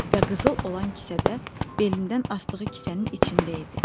Və qızıl olan kisədə belindən asdığı kisənin içində idi.